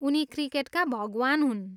उनी 'क्रिकेटका भगवान्' हुन्।